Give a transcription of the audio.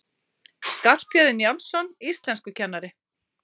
Skarphéðinn Njálsson, íslenskukennari!